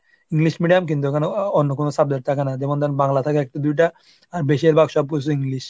English medium কিন্তু এখানে অন্য কোনো subject থাকে না. যেমন ধরেন বাংলা থাকে একটু দুইটা আর বেশিরভাগ সব কিছু English